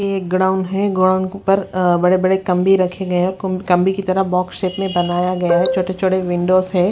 ये ग्राउंड है ग्राउंड के ऊपर अह बड़े बड़े कंबे रखे गए हैं कंबे की तरह बॉक्स शेप में बनाया गया है छोटे छोटे विंडोज हैं।